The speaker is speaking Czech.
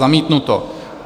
Zamítnuto.